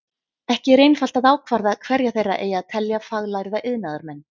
Ekki er einfalt að ákvarða hverja þeirra eigi að telja faglærða iðnaðarmenn.